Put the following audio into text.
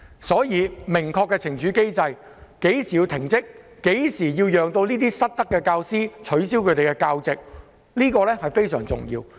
因此，制訂明確的懲處機制，訂明在甚麼情況下須要求失德的教師停職或取消其教席，這一點非常重要。